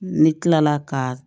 Ne kilala ka